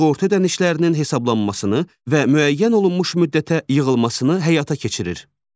Sığorta ödənişlərinin hesablanmasını və müəyyən olunmuş müddətə yığılmasını həyata keçirir.